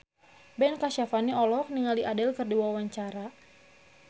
Ben Kasyafani olohok ningali Adele keur diwawancara